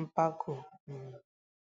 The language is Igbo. mpako um.